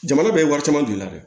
Jamana bɛ wari caman don i la dɛ